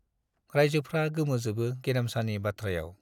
राइजोफ्रा गोमोजोबो गेरेमसानि बाथ्रायाव।